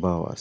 ba wasa.